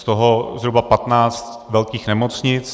Z toho zhruba 15 velkých nemocnic.